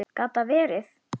Gat það verið.?